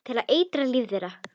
Til að eitra líf þeirra.